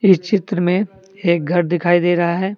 इस चित्र में एक घर दिखाई दे रहा है।